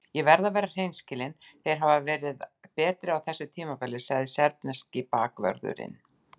Ég verð að vera hreinskilinn- þeir hafa verið betri á þessu tímabili, sagði serbneski bakvörðurinn.